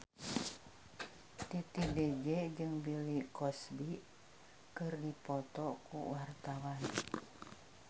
Titi DJ jeung Bill Cosby keur dipoto ku wartawan